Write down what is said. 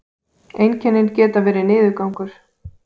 einkennin geta verið niðurgangur